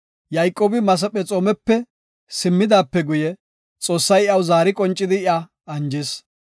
Yayqoobi Masephexoomepe simmidaape guye, Xoossay iyaw zaari qoncidi iya anjis.